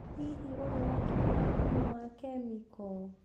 Hihi, ũrĩ watũmĩra thumu wa kemiko?